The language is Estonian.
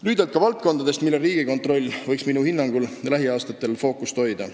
Lühidalt ka valdkondadest, millel Riigikontroll võiks minu hinnangul lähiaastatel fookust hoida.